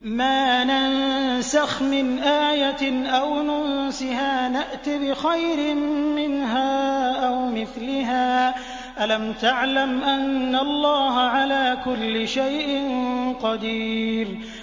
۞ مَا نَنسَخْ مِنْ آيَةٍ أَوْ نُنسِهَا نَأْتِ بِخَيْرٍ مِّنْهَا أَوْ مِثْلِهَا ۗ أَلَمْ تَعْلَمْ أَنَّ اللَّهَ عَلَىٰ كُلِّ شَيْءٍ قَدِيرٌ